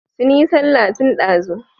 Sun yi sallah tun ɗazu.